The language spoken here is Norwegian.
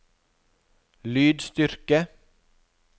lydstyrke